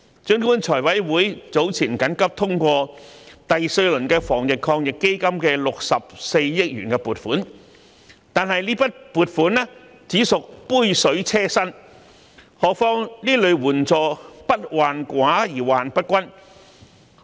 儘管財務委員會早前緊急通過第四輪防疫抗疫基金的64億元撥款，但這筆撥款只屬杯水車薪，何況這類援助不患寡而患不均。